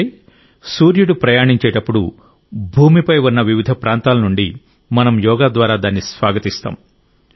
అంటే సూర్యుడు ప్రయాణించేటప్పుడు భూమిపై ఉన్న వివిధ ప్రాంతాల నుండి మనం యోగా ద్వారా దాన్ని స్వాగతిస్తాం